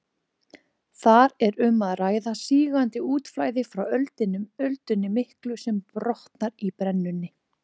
Þar er um að ræða sígandi útflæði frá öldunni miklu sem brotnar í brennunni.